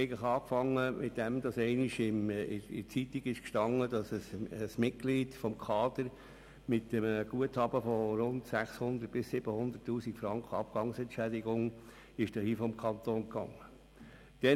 Dies begann damit, dass einst in der Zeitung zu lesen war, dass ein Mitglied des Kaders mit einem Guthaben von rund 600 000 bis 700 000 Franken Abgangsentschädigung den Kanton verliess.